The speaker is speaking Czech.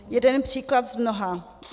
Jeden příklad z mnoha.